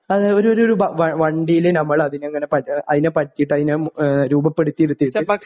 അത് ഒരു ഒരു ഭ വണ്ടിയില് നമ്മള് അതിനെ ഇങ്ങനെ പ അതിനെപ്പറ്റിയിട്ട് അതിനെ മു ഏഹ് രൂപപ്പെടുത്തിയെടുത്തിട്ട്